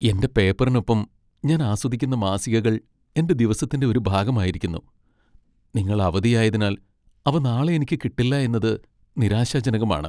എന്റെ പേപ്പറിനൊപ്പം ഞാൻ ആസ്വദിക്കുന്ന മാസികകൾ എന്റെ ദിവസത്തിന്റെ ഒരു ഭാഗമായിരിക്കുന്നു. നിങ്ങൾ അവധിയായതിനാൽ അവ നാളെ എനിക്ക് കിട്ടില്ല എന്നത് നിരാശാജനകമാണ്.